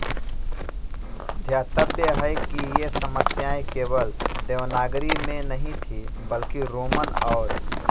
ध्यातव्य है कि ये समस्याएँ केवल देवनागरी में नहीं थी बल्कि रोमन और